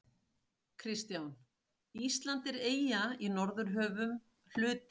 KRISTJÁN: Ísland er eyja í Norðurhöfum, hluti